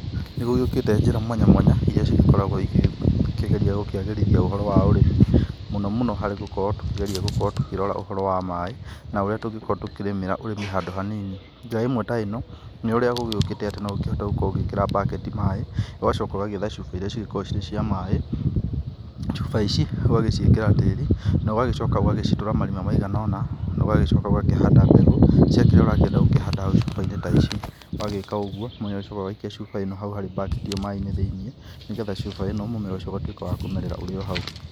Nĩ gũgĩukĩte njĩra mwanya mwanya irĩa cigĩkoragwo igĩkĩgeria gũkĩagĩrithia ũhoro wa ũrĩmi mũno mũno harĩ gũkorwo tũkĩkora ũhoro wa maĩ, na ũrĩa tũngĩkorwo tũkĩrĩmĩra ũrĩmi handũ hanini, njĩra ĩmwe ta ĩno nĩ ũrĩa gũgĩũkĩte no ũkĩhote gũkorwo ũgĩkĩra baketi maĩ, ũgacoka ũgagĩetha cuba irĩa cigĩkoragwo cirĩ cia maĩ, cuba ici ũgagĩciĩkĩra tĩri na ũgagĩcoka ũgagĩcitura marima maiganona, na ũgagĩcoka ũgakĩhanda mbegũ cia kĩrĩa ũrakĩenda gũcihanda cuba-inĩ ta ici, wagĩka ũgũo nĩ ũgĩcokaga ũgaikia cuba ĩno hau hari baketi ĩyo maĩ thĩiniĩ, nĩgetha cuba ĩno mũmera ũgatuĩka wa kũmerera ũrĩo hau.